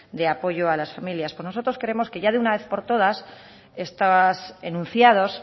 de apoyo a las familias pues nosotros queremos que ya de una vez por todas estos enunciados